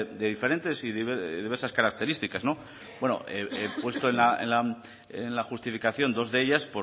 de diferentes y diversas características he puesto en la justificación dos de ellas